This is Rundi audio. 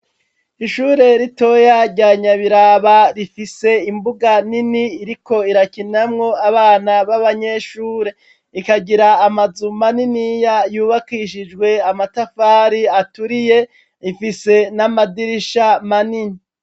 Ishure ritoya rya Nyabiraba rifise imbuga nini iriko irakinamwo abana b'abanyeshure. Ikagira amazu maniniya yubakishijwe amatafari aturiye, ifise n'amadirisha manini.